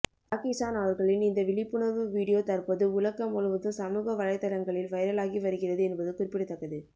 Jackie Chan அவர்களின் இந்த விழிப்புணர்வு வீடியோ தற்போது உலகம் முழுவதும் சமூக வலைதளங்களில் வைரலாகி வருகிறது என்பது குறிப்பிடத்தக்கது